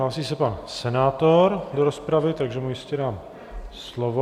Hlásí se pan senátor do rozpravy, takže mu ještě dám slovo.